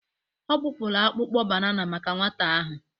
Ọ kpụpụrụ akpụkpọ banana maka nwata ahụ.